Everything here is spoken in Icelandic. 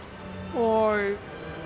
og